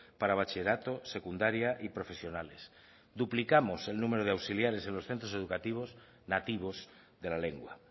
para bachillerato secundaria y profesionales duplicamos el número de auxiliares en los centros educativos nativos de la lengua